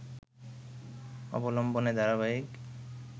অবলম্বনে ধারাবাহিক